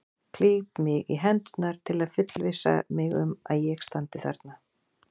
Klíp mig í hendurnar til að fullvissa mig um að ég standi þarna.